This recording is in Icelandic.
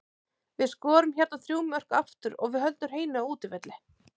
Við skorum hérna þrjú mörk aftur og við höldum hreinu á útivelli.